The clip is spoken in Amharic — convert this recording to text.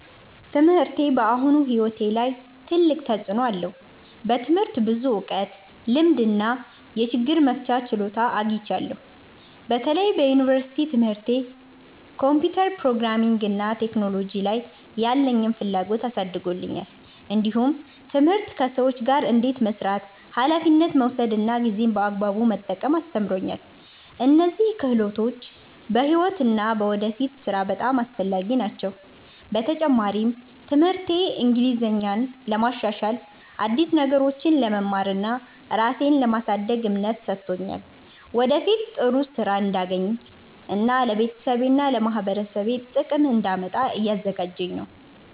ትምህርቴ በአሁኑ ሕይወቴ ላይ ትልቅ ተፅዕኖ አለው። በትምህርት ብዙ እውቀት፣ ልምድ እና የችግር መፍቻ ችሎታ አግኝቻለሁ። በተለይ በዩኒቨርሲቲ ትምህርቴ ኮምፒውተር፣ ፕሮግራሚንግ እና ቴክኖሎጂ ላይ ያለኝን ፍላጎት አሳድጎልኛል። እንዲሁም ትምህርት ከሰዎች ጋር እንዴት መስራት፣ ኃላፊነት መውሰድ እና ጊዜን በአግባቡ መጠቀም አስተምሮኛል። እነዚህ ክህሎቶች በሕይወት እና በወደፊት ሥራ በጣም አስፈላጊ ናቸው። በተጨማሪም ትምህርቴ እንግሊዝኛን ለማሻሻል፣ አዲስ ነገሮችን ለመማር እና ራሴን ለማሳደግ እምነት ሰጥቶኛል። ወደፊት ጥሩ ሥራ እንዳገኝ እና ለቤተሰቤና ለማህበረሰቤ ጥቅም እንዳመጣ እያዘጋጀኝ ነው።